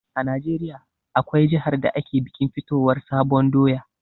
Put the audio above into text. A najeriya, akwai jihar da ake bikin fitowar sabon doya